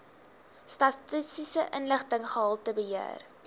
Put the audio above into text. statistiese inligting gehaltebeheer